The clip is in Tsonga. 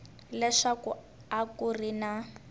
leswaku a ku ri na